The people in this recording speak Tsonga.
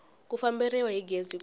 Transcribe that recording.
ku famberiwa hi gezi ku